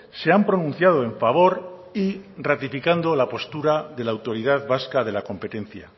se han pronunciado en favor y ratificando la postura de la autoridad vasca de la competencia